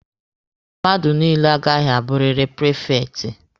Mmadụ niile agaghị abụrịrị prifekti!